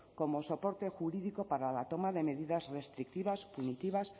como soporte jurídico para la toma de medidas restrictivas punitivas